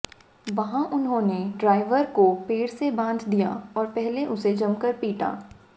वहां उन्होंने ड्राइवर को पेड़ से बांध दिया और पहले उसे जमकर पीटा